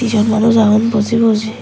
siyot manuj agon boji boji.